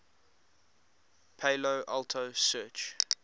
palo alto research